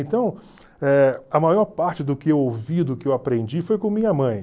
Então, eh a maior parte do que eu ouvi, do que eu aprendi, foi com minha mãe.